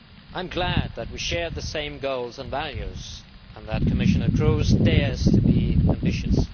I am glad that we share the same goals and values and that Commissioner Kroes dares to be ambitious.